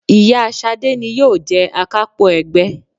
Ìyá Ṣadé ni yóò jẹ Akápò ẹgbẹ́